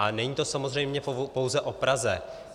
A není to samozřejmě pouze o Praze.